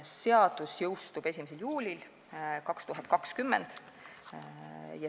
Seadus jõustub 1. juulil 2020.